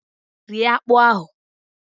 Rie akpụ ahụ!